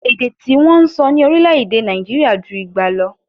Èdè tí wọ́n ń sọ ní orílè-èdè Nàìjirià ju igba lọ